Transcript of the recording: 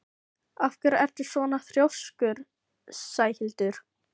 Af hverju ertu svona þrjóskur, Sæhildur?